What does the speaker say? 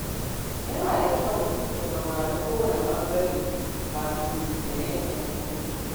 Yana da kyau mutum ya saurari kowane ɓangare kafin ya yanke hukunci.